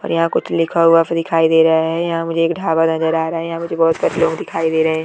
यहाँ कुछ लिखा हुआ फिर दिखाई दे रहा है यहां मुझे एक ढाबा नजर आ रहा है यहां मुझे बहुत सारे लोग दिखाई दे रहे है ।